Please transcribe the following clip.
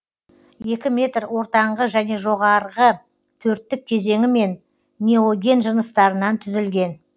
екі метр ортаңғы және жоғарғы төрттік кезеңі мен неоген жыныстарынан түзілген